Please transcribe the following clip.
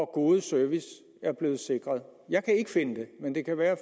gode service er blevet sikret jeg kan ikke finde det men det kan være at